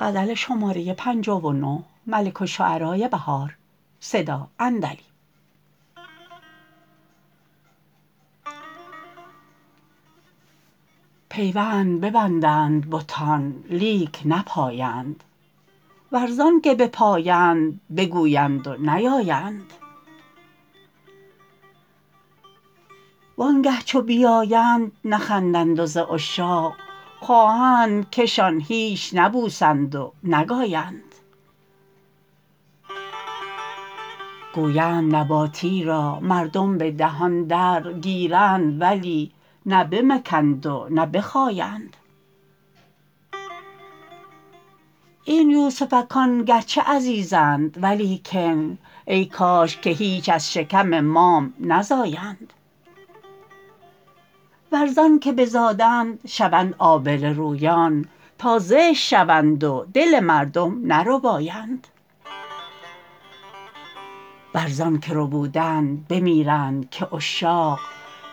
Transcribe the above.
پیوند ببندند بتان لیک نپایند ور زان که بپایند بگویند و نیایند وانگه چو بیایند نخندند و ز عشاق خواهند که شان هیچ نبوسند و نگایند گویند نباتی را مردم به دهان در گیرند ولی نه بمکند و نه بخایند این یوسفکان گرچه عزیزند ولیکن ای کاش که هیچ از شکم مام نزایند ور زان که بزادند شوند آبله رویان تا زشت شوند و دل مردم نربایند ور زان که ربودند بمیرند که عشاق